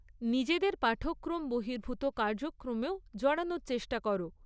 নিজেদের পাঠক্রম বহির্ভূত কার্যক্রমেও জড়ানোর চেষ্টা করো।